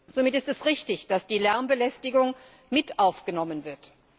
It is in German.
Somit ist es richtig, dass die Lärmbelästigung mit aufgenommen wird.